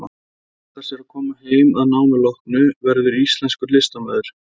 Hún ætlar sér að koma heim að námi loknu, verða íslenskur listamaður.